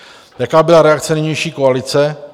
Jaká byla reakce nynější koalice?